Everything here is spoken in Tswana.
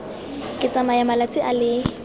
ka tsaya malatsi a le